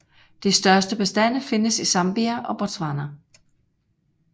De største bestande findes i Zambia og Botswana